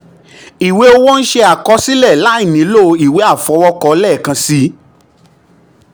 iwe owo nṣe akọsilẹ lai nilo iwe afọwọkọ lẹẹkansi.